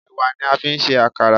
Ẹ̀wà ni a fi ń ṣe Àkàrà.